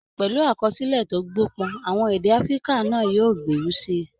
Pẹ̀lú àkọsílẹ̀ tó gbópọn, àwọn èdè Africa náà yóò gbèrú sí i